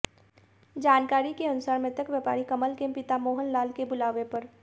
जानकारी के अनुसार मृतक व्यापारी कमल के पिता मोहन लाल के बुलावे पर